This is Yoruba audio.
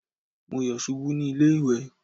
Má yọ̀ ṣubú ní ilé ìwẹ̀.